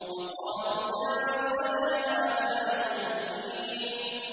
وَقَالُوا يَا وَيْلَنَا هَٰذَا يَوْمُ الدِّينِ